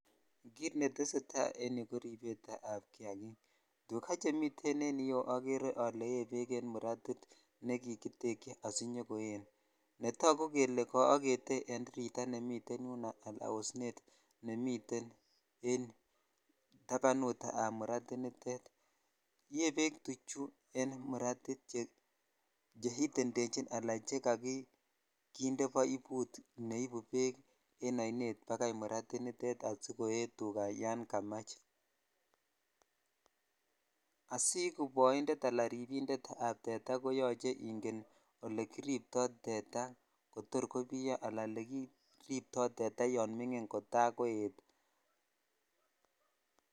It netesetai korbet ab kiakik tukaa chemiten yu okere ole yee bek chemi muratit nekikityekyi asinyokoen beknetagu kele kaagete en tiretaa nemite yuno ala osnet nemiten en yuu tabanut ab muratit nitet yee bek tuchu en muratit che itendechi ala chekoginde boibut neibu bek en ainet bakai murati nitet sikoe tukaa yan kamach (puse)boinded ala ribinded ab tetaa koyuche ingen ole kiripto tetaa kotor kobiyo ala olekiripto tetaa yan minge kota koet.